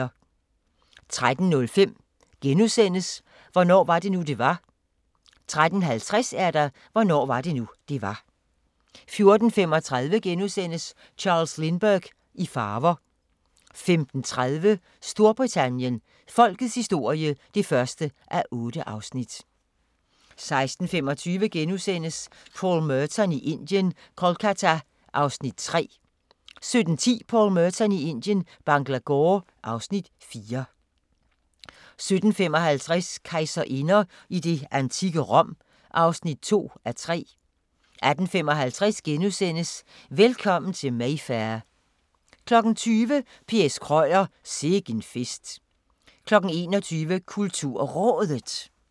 13:05: Hvornår var det nu, det var? * 13:50: Hvornår var det nu, det var? 14:35: Charles Lindbergh i farver * 15:30: Storbritannien -folkets historie (1:8) 16:25: Paul Merton i Indien – Kolkata (Afs. 3)* 17:10: Paul Merton i Indien – Bangalore (Afs. 4) 17:55: Kejserinder i det antikke Rom (2:3) 18:55: Velkommen til Mayfair * 20:00: P. S. Krøyer – Sikken fest 21:00: KulturRådet